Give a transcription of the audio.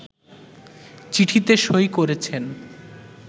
চিঠিতে সই করেছেন